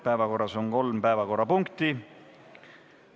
Päevakorras on kolm punkti.